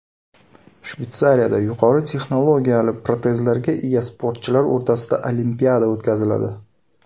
Shveysariyada yuqori texnologiyali protezlarga ega sportchilar o‘rtasida olimpiada o‘tkaziladi.